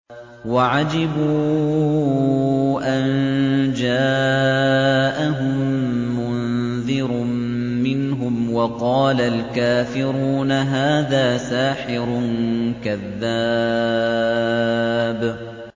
وَعَجِبُوا أَن جَاءَهُم مُّنذِرٌ مِّنْهُمْ ۖ وَقَالَ الْكَافِرُونَ هَٰذَا سَاحِرٌ كَذَّابٌ